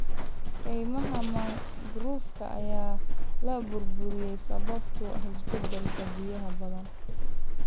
Kaymaha mangroovka ayaa la burburiyay sababtoo ah isbeddelka biyaha badda.